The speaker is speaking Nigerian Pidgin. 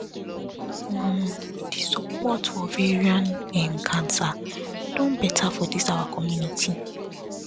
omo the support for ovarian um cancer don better for this our community